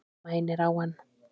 Mænir á hann.